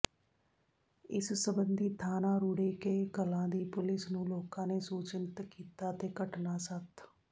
ਇਸ ਸਬੰਧੀ ਥਾਣਾ ਰੂੜੇਕੇ ਕਲਾਂ ਦੀ ਪੁਲਿਸ ਨੂੰ ਲੋਕਾਂ ਨੇ ਸੂਚਿਤ ਕੀਤਾ ਤੇ ਘਟਨਾ ਸਥ